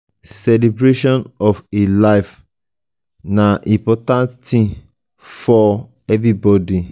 celebration of a new life na very important thing for for everybody